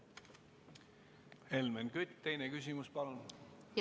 Helmen Kütt, teine küsimus, palun!